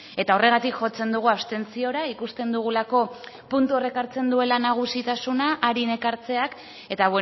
eta horregatik jotzen dugu abstentziora ikusten dugulako puntu horrek hartzen duela nagusitasuna arin ekartzeak eta